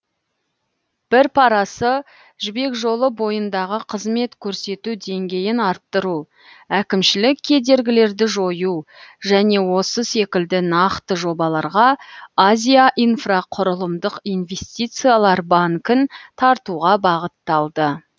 бір парасы жібек жолы бойындағы қызмет көрсету деңгейін арттыру әкімшілік кедергілерді жою және осы секілді нақты жобаларға азия инфрақұрылымдық инвестициялар банкін тартуға бағытталды